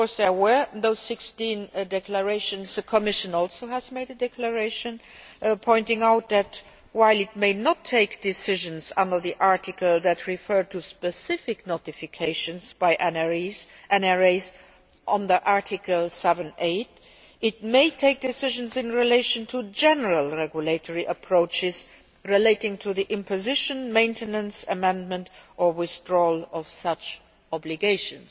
because there were those 16 declarations, the Commission has also made a declaration pointing out that, while it may not take decisions under the article that refer to specific notifications by NRAs under Article 7a, it may take decisions in relation to general regulatory approaches relating to the imposition, maintenance, amendment or withdrawal of such obligations.